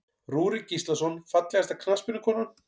Rúrik Gíslason Fallegasta knattspyrnukonan?